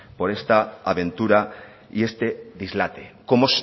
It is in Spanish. por esta aventura y este dislate como